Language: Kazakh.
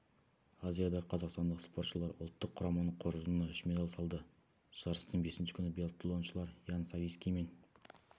азиада қазақстандық спортшылар ұлттық құраманың қоржынына үш медаль салды жарыстың бесінші күні биатлоншылар ян савицкий мен